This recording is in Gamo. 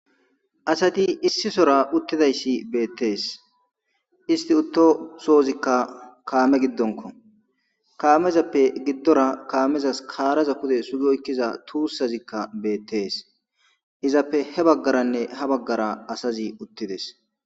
Asati issisora utidayssi bettes isti utto sozikka kame gidonkko kamezzappe gidora kamezas karazza pude sugi oykidda tusazziakk bettes izappe hebagarane habagara asazi utides.